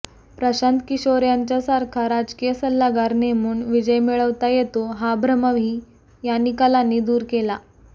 प्रशांत किशोर यांच्यासारखा राजकीय सल्लागार नेमून विजय मिळवता येतो हा भ्रमही या निकालांनी दूर केला